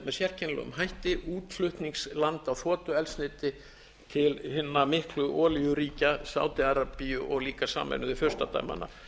sérkennilegum hætti útflutningsland á þotueldsneyti til hinna miklu olíuríkja sádi arabíu og líka sameinuðu furstadæmanna